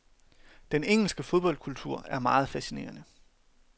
Den engelske fodboldkultur er meget fascinerende.